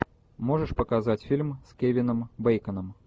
можешь показать фильм с кевином бейконом